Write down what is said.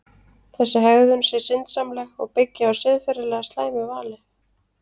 Þessi hegðun sé syndsamleg og byggi á siðferðilega slæmu vali.